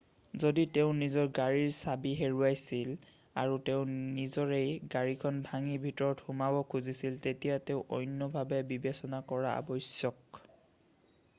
যদি তেওঁ নিজ গাড়ীৰ চাবি হেৰুৱাইছিল আৰু তেওঁ নিজৰে গাড়ীখন ভাঙি ভিতৰত সোমাব খুজিছিল তেতিয়া তেওঁ অন্য ভাৱে বিবেচনা কৰা আৱশ্যক